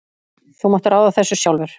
Þú mátt ráða þessu sjálfur.